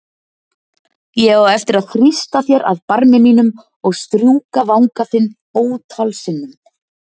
Ég á eftir að þrýsta þér að barmi mínum og strjúka vanga þinn ótal sinnum.